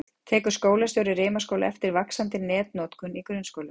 Tekur skólastjóri Rimaskóla eftir vaxandi netnotkun í grunnskólum?